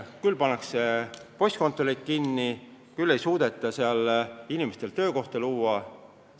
Küll pannakse postkontoreid kinni, küll ei suudeta seal inimestele töökohti luua.